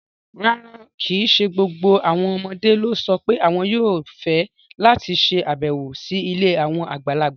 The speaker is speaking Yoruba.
Rárá, kì í ṣe gbogbo àwọn ọmọdé ló sọ pé àwọn yóò fẹ́ láti ṣàbẹ̀wò sí ilé àwọn àgbàlagbà.